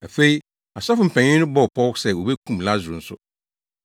Afei, asɔfo mpanyin no bɔɔ pɔw sɛ wobekum Lasaro nso,